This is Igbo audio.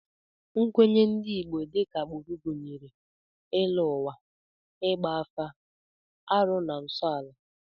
Nkwenye ndị Igbo dịka agbụrụ gụnyere ịlọ ụwa, ịgba afa, arụ na nsọala